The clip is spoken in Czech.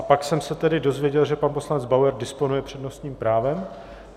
A pak jsem se tedy dozvěděl, že pan poslanec Bauer disponuje přednostním právem.